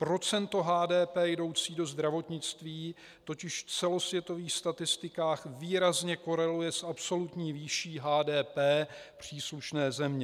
Procento HDP jdoucí do zdravotnictví totiž v celosvětových statistikách výrazně koreluje s absolutní výší HDP příslušné země.